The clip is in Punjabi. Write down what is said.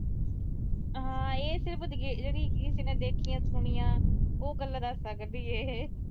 ਹਾਂ ਇਹ ਸਿਰਫ ਜਿਹੜੀ ਕਿਸੇ ਨੇ ਦੇਖੀਆਂ, ਸੁਣੀਆਂ। ਉਹ ਗੱਲਾਂ ਦੱਸ ਸਕਦੀ ਆ।